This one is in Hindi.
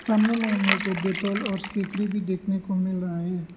सामने मे हम लोग को डेटॉल और स्टेफ्री भी देखने को मिल रहा है।